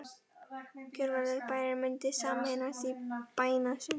Gjörvallur bærinn mundi sameinast í bænastund.